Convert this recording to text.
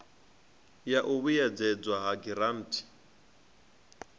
ya u vhuedzedzwa ha giranthi